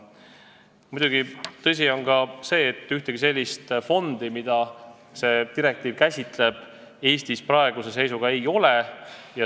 Muidugi, tõsi on ka see, et ühtegi sellist fondi, mida see direktiiv käsitleb, Eestis praeguse seisuga ei ole.